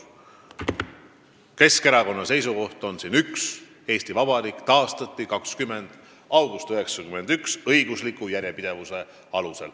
Keskerakonna seisukoht on siin üks: Eesti Vabariik taastati 20. augustil 1991 õigusliku järjepidevuse alusel.